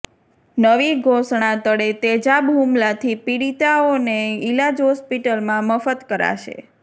નવી ઘોષણા તળે તેજાબ હુમલાથી પીડિતાઓને ઈલાજ હોસ્પિટલમાં મફત કરાશે